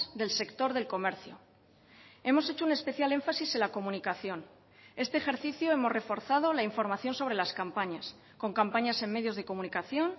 del sector del comercio hemos hecho un especial énfasis en la comunicación este ejercicio hemos reforzado la información sobre las campañas con campañas en medios de comunicación